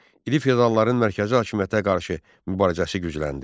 İri feodalların mərkəzi hakimiyyətə qarşı mübarizəsi gücləndi.